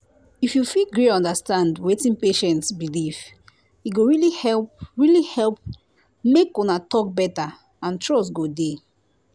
if you fit gree understand wetin patient believe e go really help really help make una talk better and trust go dey